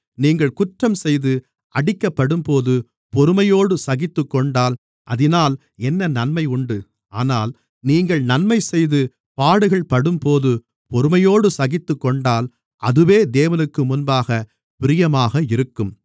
நீங்கள் குற்றம் செய்து அடிக்கப்படும்போது பொறுமையோடு சகித்துக்கொண்டால் அதினால் என்ன நன்மை உண்டு ஆனால் நீங்கள் நன்மைசெய்து பாடுகள்படும்போது பொறுமையோடு சகித்துக்கொண்டால் அதுவே தேவனுக்கு முன்பாகப் பிரியமாக இருக்கும்